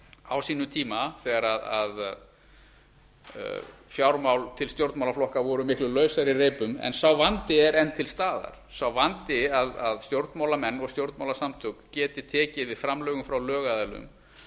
á sínum tíma þegar fjármál til stjórnmálaflokka voru miklu lausari í reipum en sá vandi er enn til staðar sá vandi að stjórnmálamenn og stjórnmálasamtök geti tekið við framlögum frá lögaðilum